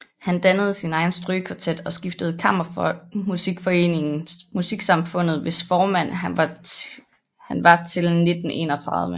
Han dannede sin egen strygekvartet og stiftede kammermusikforeningen Musiksamfundet hvis formand han var til 1931